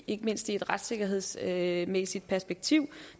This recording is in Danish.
ikke mindst i et retssikkerhedsmæssigt perspektiv